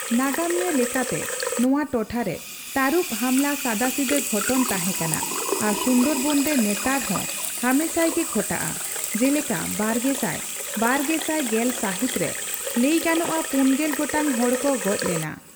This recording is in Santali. ᱱᱟᱜᱟᱢᱤᱭᱟᱹ ᱞᱮᱠᱟᱛᱮ ᱱᱚᱣᱟ ᱴᱚᱴᱷᱟ ᱨᱮ ᱛᱟᱨᱩᱵ ᱦᱟᱢᱞᱟ ᱥᱟᱫᱟᱥᱤᱫᱟᱹ ᱜᱷᱚᱴᱚᱱ ᱛᱟᱦᱮᱸ ᱠᱟᱱᱟ ᱟᱨ ᱥᱩᱱᱫᱚᱨᱵᱚᱱ ᱨᱮ ᱱᱮᱛᱟᱨ ᱦᱚᱸ ᱦᱟᱢᱮᱥᱟᱭ ᱜᱮ ᱜᱷᱚᱴᱟᱜᱼᱟ, ᱡᱮᱞᱮᱠᱟ ᱵᱟᱨᱜᱮᱥᱟᱭ ᱼᱵᱟᱨᱜᱮᱥᱟᱭ ᱜᱮᱞ ᱥᱟᱹᱦᱤᱛ ᱨᱮ ᱞᱟᱹᱭᱜᱟᱱᱚᱜᱼᱟ ᱯᱩᱱᱜᱮᱞ ᱜᱚᱴᱟᱝ ᱦᱚᱲ ᱠᱚ ᱜᱚᱡ ᱞᱮᱱᱟ ᱾